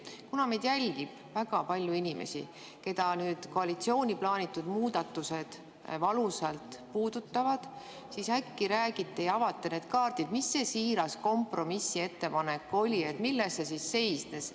Kuna meid jälgib väga palju inimesi, keda koalitsiooni plaanitud muudatused valusalt puudutavad, siis äkki räägite sellest ja avate need kaardid, mis see siiras kompromissettepanek oli, milles see seisnes.